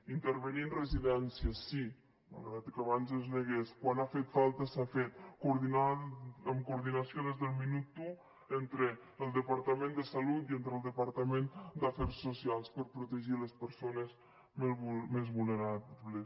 intervenint residències sí malgrat que abans es negués quan ha fet falta s’ha fet en coordinació des del minut un entre el departament de salut i el departament d’afers socials per protegir les persones més vulnerables